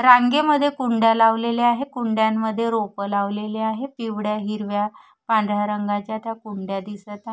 रांगेमध्ये कुंड्या लावलेल्या आहेत कुंड्यांमध्ये रोपं लावलेली आहेत पिवळ्या हिरव्या पांढऱ्या रंगांच्या त्या कुंड्या दिसतं आहेत.